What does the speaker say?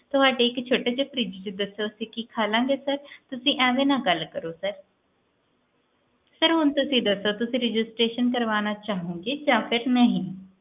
ਤੁਹਾਡੇ ਇੱਕ ਛੋਟੇ ਜਹੇ fridge ਚੋ ਅਸੀਂ ਕਿ ਖਾ ਲੈਣਗੇ ਤੁਸੀਂ ਐਵੇ ਨਾ ਗੱਲ ਕਰੋ sir ਤੁਸੀਂ ਹੁਣ ਦੱਸੋ ਤੁਸੀਂ registeration ਕਰਵਾਣਾ ਚਾਹੋਂਗੇ ਜਾ ਨਹੀਂ